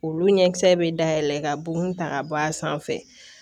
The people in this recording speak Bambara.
Olu ɲɛkisɛ bɛ dayɛlɛ ka bo ta ka bɔ a sanfɛ